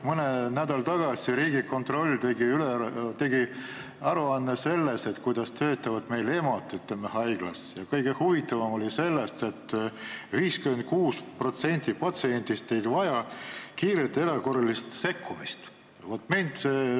Mõni nädal tagasi tegi Riigikontroll aruande sellest, kuidas töötavad meil haiglates EMO-d ja kõige huvitavam oli see, et 56% patsientidest ei vaja kiiret erakorralist sekkumist.